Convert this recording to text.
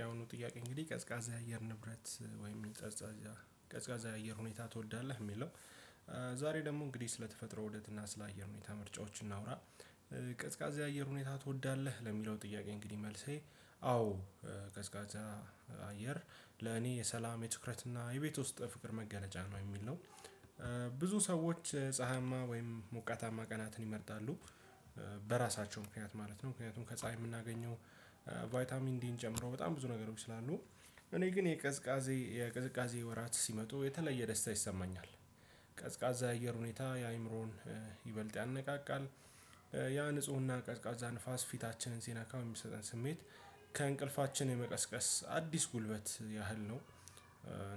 ያአሁኑ ጥያቄ እንግዲህ ቀዝቃዛ የአየር ንብረት ወይም ቀዝቃዛ የአየር ሁኔታ ትወዳለህ የሚለው? ዛሬ ደግሞ እንግዲህ ስለተፈጥሮ ውደት እና ስለ አየር ሁኔታ ምርጫዎች እናውራ። ቀዝቃዜ የአየር ሁኔታ ትወዳለህ ለሚለው ጥያቄ እንግዲህ መልሴ አዎ ቀዝቃዛ አየር ለኔ የሰላም የትኩረትና የቤት ውስጥ ፍቅር መገለጫ ነው የሚል ነው። ብዙ ሰዎች ፀሀያማ ወይም ሞቃታማ ቀናትን ይመርጣሉ። በራሳቸው ምክንያት ማለት ነው ምክንያቱም ከፀሀይ የምናገኘው ቫይታሚን ዲን ጨምሮ በጣም ብዙ ነገሮች ስላሉ። እኔ ግን የቅዝቃዜ ወራት ሲመጡ የተለየ ደስታ ይሰማኛል። ቀዝቃዛ አየር ሁኔታ የአእምሮን ይበልጥ ያነቃቃል። ያ ንፁህና ቀዝቃዛ ንፋስ ፊታችንን ሲነካ የሚሰጠን ስሜት ከእንቅልፋችን የመቀስቀስ አዲስ ጉልበት ያህል ነው።